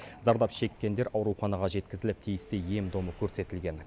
зардап шеккендер ауруханаға жеткізіліп тиісті ем домы көрсетілген